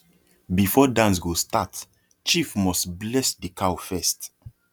before dance go start chief must bless the cow first